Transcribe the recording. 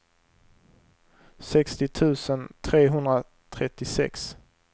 sextio tusen trehundratrettiosex